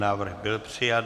Návrh byl přijat.